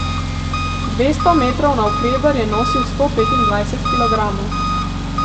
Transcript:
Dvesto metrov navkreber je nosil sto petindvajset kilogramov.